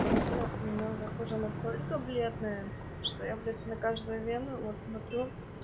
просто у меня уже кожа настолько бледная что я блять на каждую вену вот смотрю